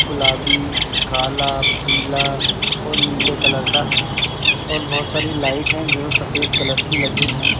गुलाबी काला पीला और नीला कलर का है और बोहोत सारी लाइट हैं जो सफ़ेद कलर की लगी हैं।